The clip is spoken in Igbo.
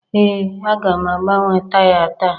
Ee aga m agbanwe taya taa